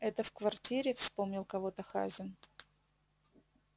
это в квартире вспомнил кого-то хазин